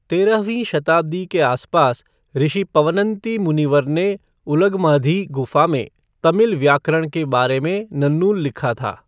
तेरहवीं शताब्दी के आसपास, ऋषि पवनंती मुनिवर ने उलगमाधी गुफा में तमिल व्याकरण के बारे में नन्नुल लिखा था।